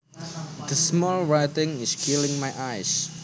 The small writing is killing my eyes